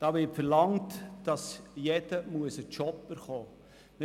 Damit wird verlangt, dass jeder einen Job erhalten muss.